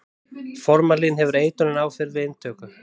formalín hefur eitrunaráhrif við inntöku